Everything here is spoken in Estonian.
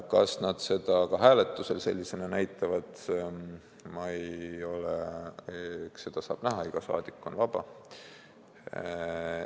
Kas nad seda ka hääletusel näitavad, eks seda saab näha, iga saadik on vaba.